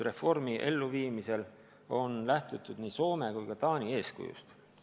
Reformi elluviimisel on lähtutud nii Soome kui ka Taani eeskujust.